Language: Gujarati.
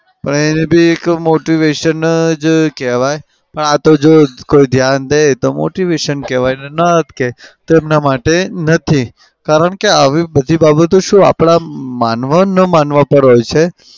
પણ એને બી એક motivation જ કેવાય. પણ આતો જો કોઈ ધ્યાન દે તો motivation કેવાય ના દે તો એમના માટે નથી. કારણ કે આવી બધી બાબતો આપડા માનવા ન માનવા પર હોય છે.